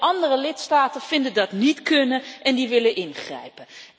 En de andere lidstaten vinden dat niet kunnen en die willen ingrijpen.